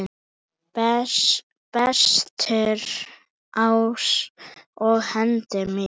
Bestur ás á hendi mér.